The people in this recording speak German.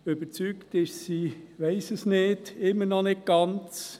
Überzeugt davon ist sie – ich weiss es nicht – immer noch nicht ganz.